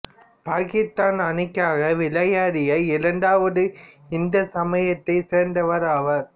பாக்கித்தான் அணிக்காக விளையாடிய இரண்டாவது இந்து சமயத்தைச் சேர்ந்தவர் ஆவார்